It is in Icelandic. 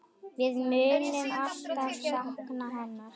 Við munum alltaf sakna hennar.